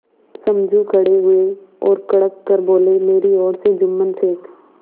समझू खड़े हुए और कड़क कर बोलेमेरी ओर से जुम्मन शेख